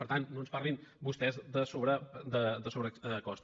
per tant no ens parlin vostès de sobrecost